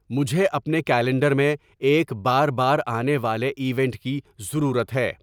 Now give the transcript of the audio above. مجھے اپنے کیلنڈر میں ایک بار بار آنے والے ایونٹ کی ضرورت ہے